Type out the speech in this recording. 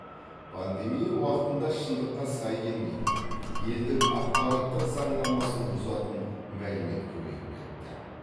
пандемия уақытында шындыққа сай келмейтін елдің ақпараттық заңнамасын бұзатын мәлімет көбейіп кетті